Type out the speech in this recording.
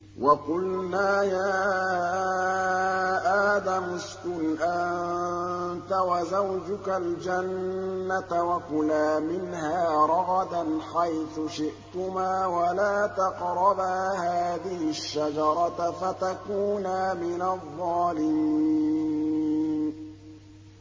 وَقُلْنَا يَا آدَمُ اسْكُنْ أَنتَ وَزَوْجُكَ الْجَنَّةَ وَكُلَا مِنْهَا رَغَدًا حَيْثُ شِئْتُمَا وَلَا تَقْرَبَا هَٰذِهِ الشَّجَرَةَ فَتَكُونَا مِنَ الظَّالِمِينَ